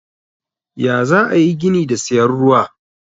Ya zaayi ayi gini da siyan ruwa.